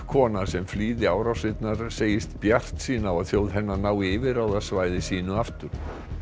kona sem flýði árásirnar segist bjartsýn á að þjóð hennar nái yfirráðasvæði sínu aftur